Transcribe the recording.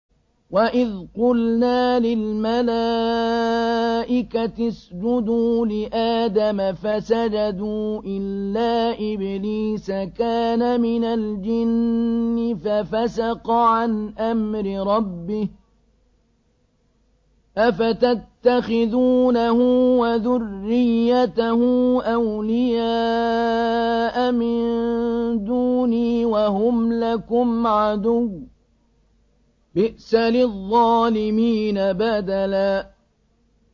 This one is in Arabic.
وَإِذْ قُلْنَا لِلْمَلَائِكَةِ اسْجُدُوا لِآدَمَ فَسَجَدُوا إِلَّا إِبْلِيسَ كَانَ مِنَ الْجِنِّ فَفَسَقَ عَنْ أَمْرِ رَبِّهِ ۗ أَفَتَتَّخِذُونَهُ وَذُرِّيَّتَهُ أَوْلِيَاءَ مِن دُونِي وَهُمْ لَكُمْ عَدُوٌّ ۚ بِئْسَ لِلظَّالِمِينَ بَدَلًا